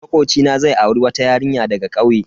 Makocina zai auri wata yarinya daga kauye.